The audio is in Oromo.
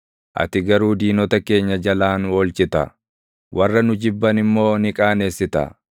ati garuu diinota keenya jalaa nu oolchita; warra nu jibban immoo ni qaanessita.